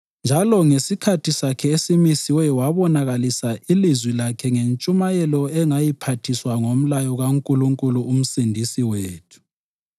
njalo ngesikhathi sakhe esimisiweyo wabonakalisa ilizwi lakhe ngentshumayelo engayiphathiswa ngomlayo kaNkulunkulu uMsindisi wethu,